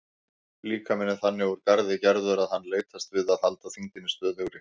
Líkaminn er þannig úr garði gerður að hann leitast við að halda þyngdinni stöðugri.